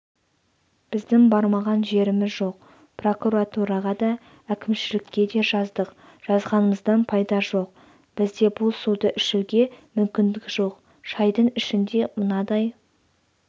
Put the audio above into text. біздің бармаған жеріміз жоқ прокуратураға да әкімшілікке де жаздық жазғанымыздан пайда жоқ бізде бұл суды ішуге мүмкіндік жоқ шайдың ішінде мынадай